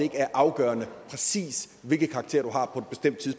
er afgørende præcis hvilke karakterer